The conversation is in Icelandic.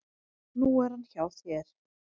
Nú er hann hjá þér.